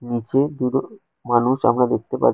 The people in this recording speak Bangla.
নীচে দুটো মানুষ আমরা দেখতে পার --